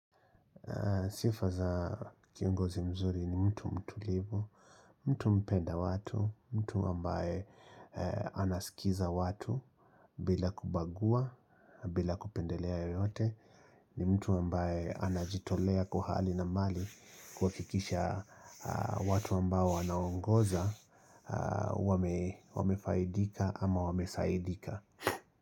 Sifa za kiongozi mzuri ni mtu mtulivu, mtu mpenda watu, mtu ambaye anasikiza watu bila kubagua na bila kupendelea yoyote. Ni mtu ambaye anajitolea kwa hali na mali kuhakikisha watu ambao anaongoza, wamefaidika ama wamezaidika.